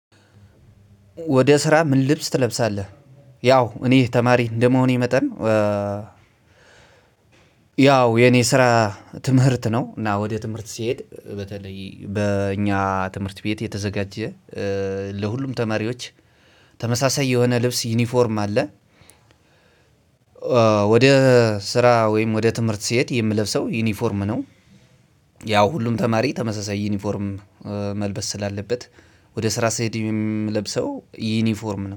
ወደ ስራ ምን ልብስ ትለብሳለህ? ያው እኔ ተማሪ እንደመሆኔ መጠን። ያው የኔ ስራ ትምህርት ነው ወደ ትምህርት ስሄድ። በኛ ትምህርት ቤት የተዘጋጀ ለሁሉም ተማሪወች ተመሳሳይ የሆነ ልብስ ዩኒፎርም አለ። ወደ ስራ ወይም ወደ ትምህርት ስሄድ የምለብሰው ዩኒፎርም ነው። ያው ሁሉም ተማሪ ተመሳሳይ ዩኒፎርም መልበስ ስላለበት ወደ ስራ ስሄድ የምለብሰው ዩኒፎርም